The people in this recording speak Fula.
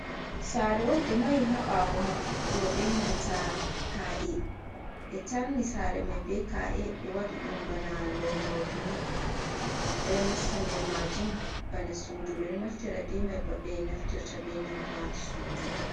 Sare’on be mahi ha ɓawo wuro benanta ka'e ɓe tarni sare mai be ka'e be wadudum bana lomordni ɓe nasta nder majum bana sudu. Ɓedo naftira be mai babe naftirta benanta sudu.